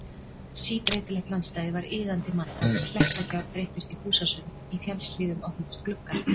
Síbreytilegt landslagið var iðandi mannhaf, klettagjár breyttust í húsasund, í fjallshlíðum opnuðust gluggar.